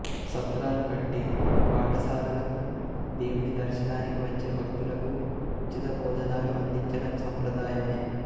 సత్రాలు కట్టి బాటసారులకు దేవుని దర్శనానికి వచ్చే భక్తులకూ ఉచిత బోజనాలను అందించడం సంప్రదాయమే